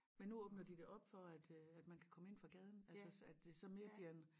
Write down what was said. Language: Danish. Men nu åbner de det op for at øh at man kan komme ind fra gaden altså så at det så bliver mere en